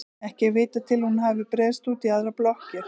Ekki er vitað til að hún hafi breiðst út í aðrar blokkir.